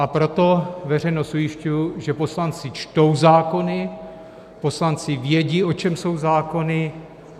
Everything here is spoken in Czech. A proto veřejnost ujišťuji, že poslanci čtou zákony, poslanci vědí, o čem jsou zákony.